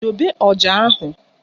Dobe ọja ahụ!